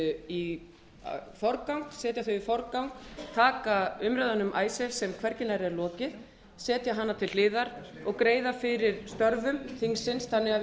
í forgang taka umræðuna um icesave sem hvergi nærri er lokið setja hana til hliðar og greiða fyrir störfum þingsins þannig að við